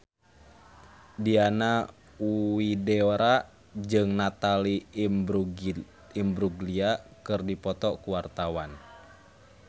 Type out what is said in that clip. Diana Widoera jeung Natalie Imbruglia keur dipoto ku wartawan